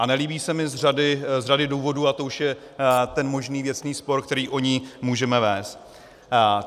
A nelíbí se mi z řady důvodů a to už je ten možný věcný spor, který o ní můžeme vést.